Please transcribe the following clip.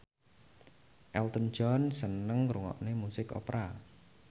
Elton John seneng ngrungokne musik opera